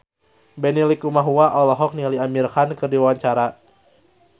Benny Likumahua olohok ningali Amir Khan keur diwawancara